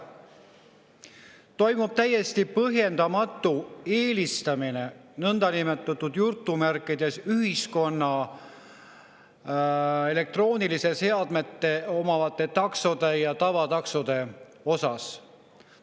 Toimub täiesti põhjendamatu nõndanimetatud elektroonilisi seadmeid omavate taksode eelistamine tavataksode ees.